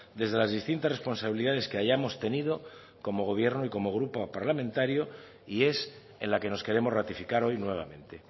desde las distintas responsabilidades que hayamos tenido como gobierno y como grupo parlamentario y es en la que nos queremos ratificar hoy nuevamente